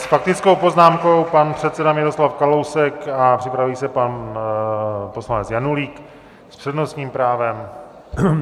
S faktickou poznámkou pan předseda Miroslav Kalousek a připraví se pan poslanec Janulík s přednostním právem.